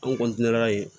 An